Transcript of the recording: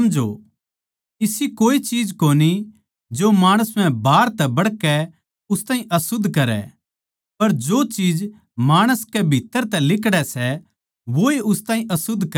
इसी कोए चीज कोनी जो माणस म्ह बाहर तै बड़कै उस ताहीं अशुध्द करै पर जो चीज माणस कै भीत्त्तर तै लिकड़ै सै वैए उस ताहीं अशुध्द करै सै